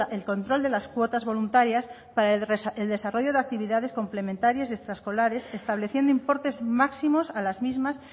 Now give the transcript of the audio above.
el control de las cuotas voluntarias para el desarrollo de actividades complementarias y extraescolares estableciendo importes máximos a las mismas